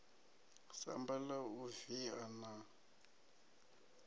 samba la u via na